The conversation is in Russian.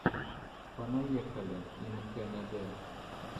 понаехали ин кэнэдэ